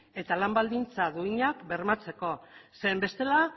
eta lan baldintza duinak bermatzeko zen bestela